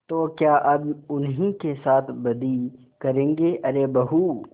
तो क्या अब उन्हीं के साथ बदी करेंगे अरे बहू